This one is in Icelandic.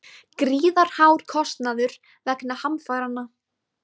Gríðarhár kostnaður vegna hamfaranna